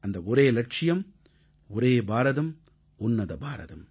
அந்த ஒரே இலட்சியம் ஒரே பாரதம் உன்னத பாரதம்